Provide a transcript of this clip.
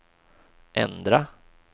ändra